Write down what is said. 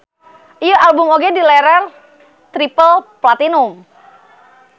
Ieu album oge dileler triple platinum.